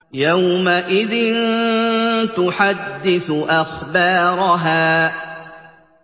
يَوْمَئِذٍ تُحَدِّثُ أَخْبَارَهَا